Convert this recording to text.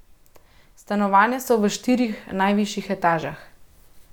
Stanovanja so v štirih najvišjih etažah.